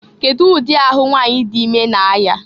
Kedu ụdị ahụ nwanyị dị ime na-aya?